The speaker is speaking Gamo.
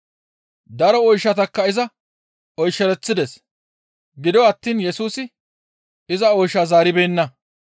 Daro oyshatakka iza oyshereththides; gido attiin Yesusi iza oyshaa zaaribeenna.